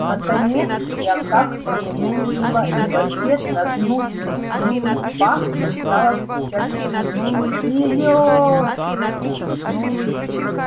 наконец я как-то не выдержала и в ответ на гнусный писк факса стала кричать в трубку серёёёжа